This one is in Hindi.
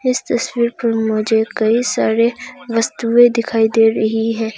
इस तस्वीर पे मुझे कईं सारी वस्तुएं दिखाई दे रही है।